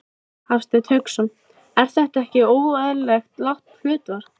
Hafsteinn Hauksson: Er það ekki óeðlilega lágt hlutfall?